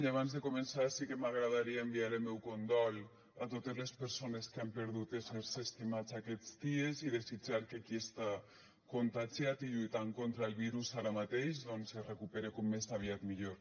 i abans de començar sí que m’agradaria enviar el meu condol a totes les persones que han perdut éssers estimats aquests dies i desitjar que qui està contagiat i lluitant contra el virus ara mateix doncs se recupere com més aviat millor